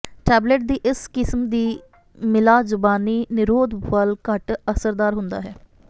tablet ਦੀ ਇਸ ਕਿਸਮ ਦੀ ਮਿਲਾ ਜ਼ੁਬਾਨੀ ਨਿਰੋਧ ਵੱਧ ਘੱਟ ਅਸਰਦਾਰ ਹੁੰਦਾ ਹੈ